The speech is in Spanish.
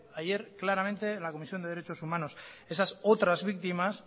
ayer claramente en la comisión de derechos humanos esas otras víctimas